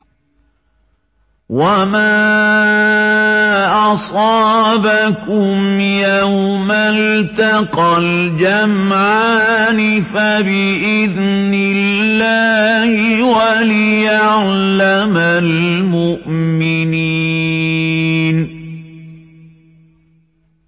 وَمَا أَصَابَكُمْ يَوْمَ الْتَقَى الْجَمْعَانِ فَبِإِذْنِ اللَّهِ وَلِيَعْلَمَ الْمُؤْمِنِينَ